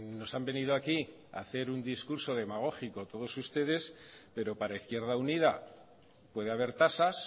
nos han venido aquí hacer un discurso demagógico todos ustedes pero para izquierda unida puede haber tasas